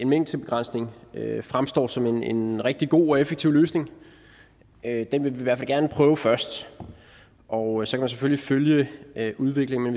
mængdebegrænsning fremstår som en rigtig god og effektiv løsning den vil vi i hvert fald gerne prøve først og så kan man selvfølgelig følge udviklingen